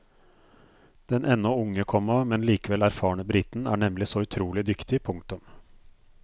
Den ennå unge, komma men likevel erfarne briten er nemlig så utrolig dyktig. punktum